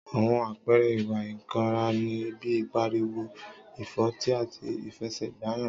Àwon àpẹẹrẹ ìwá ìkànrá ní, pi pàríwó, ìfọtí àtí ìfẹsé gbàyàn.